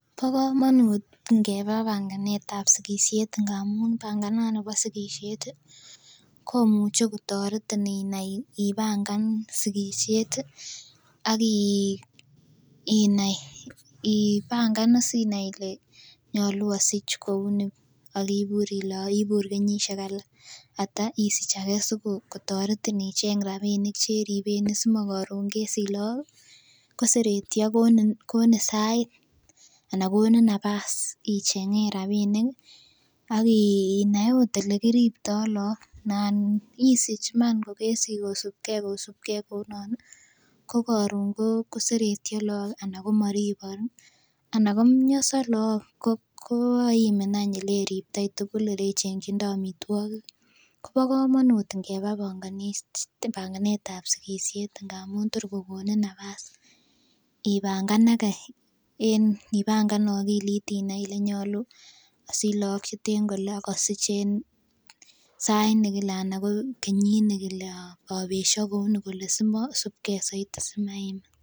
Bo komonut ngeba banganetab sigisiet amun banganani bo sigisiet ih komuche kotoretin inai ibangan sigisiet ih ak inai ibangan is inai ile nyolu osich kouni ak ibur ile ibur kenyisiek ata sikotoretin icheng rapinik cheriben si makoron kesich look koseretyo konin sait anan konin napas icheng'en rapinik ih ak inai ot elekiriptoo look nan isich iman kosibgee kosibgee kounon ih kokoron koseretyo look ih ana komoribok ih ana komionso look koimin any eleriptoi tugul elechengkyindoi amitwogik kobo komonut ngeba banganetab sigisiet amun tor kokonin napas ibanganage en ibangan akilit inai ile nyolu asich look cheten kole ak asich en sait nekile ana ko kenyit nekile obesyo kouni kole simosibgee soiti simaimin